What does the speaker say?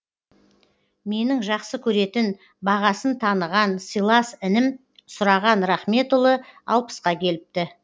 менің жақсы көретін бағасын таныған сыйлас інім сұраған рахметұлы алпысқа келіпті